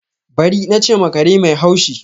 Bari! na che ma kare mai hashi.